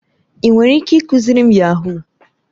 Ị nwere ike ịkụziri m yahuu?